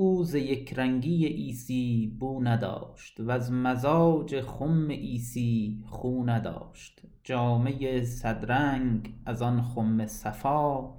او ز یک رنگی عیسی بو نداشت وز مزاج خم عیسی خو نداشت جامه صد رنگ از آن خم صفا